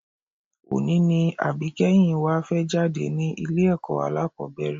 Òní ni àbíkẹ́yìn wa fẹ́ jáde ní ilé-ẹ̀kọ́ alákọ́bẹ̀rẹ̀